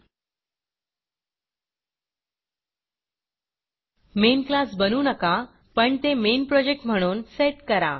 main classमेन class बनवू नका पण ते मेन projectमेन प्रॉजेक्ट म्हणून सेट करा